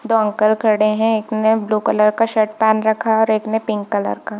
दो अंकल खड़े है एक ने ब्लू कलर का शर्ट पहन रखा है और एक ने पिंक कलर का।